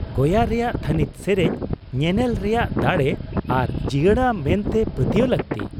ᱜᱳᱭᱟ ᱨᱮᱭᱟᱜ ᱛᱷᱟᱹᱱᱤᱛ ᱥᱮᱨᱮᱧ ᱧᱮᱱᱮᱞ ᱨᱮᱭᱟᱜ ᱫᱟᱲᱮ ᱟᱨ ᱡᱤᱭᱟᱹᱲᱟ ᱢᱮᱱᱛᱮ ᱯᱟᱹᱛᱭᱟᱹᱣ ᱞᱟᱹᱠᱛᱤ ᱾